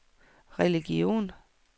religion